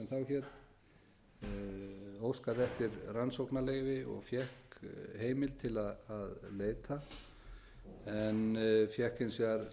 hét óskaði eftir rannsóknarleyfi og fékk heimild til að leita en fékk hins vegar